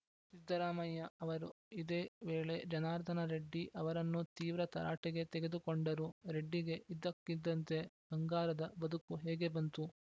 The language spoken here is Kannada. ಸಿದ್ದರಾಮಯ್ಯ ಅವರು ಇದೇ ವೇಳೆ ಜನಾರ್ದನ ರೆಡ್ಡಿ ಅವರನ್ನೂ ತೀವ್ರ ತರಾಟೆಗೆ ತೆಗೆದುಕೊಂಡರು ರೆಡ್ಡಿಗೆ ಇದ್ದಕ್ಕಿದ್ದಂತೆ ಬಂಗಾರದ ಬದುಕು ಹೇಗೆ ಬಂತು